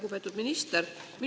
Lugupeetud minister!